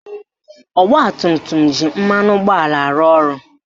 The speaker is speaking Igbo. Ọgbatumtum ji mmanụ ụgbọala arụ ọrụ